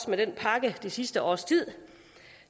med den pakke det sidste års tid